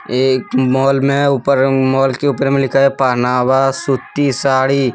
ये एक मॉल में ऊपर मॉल के ऊपर में लिखा है पहनावा सूती साड़ी।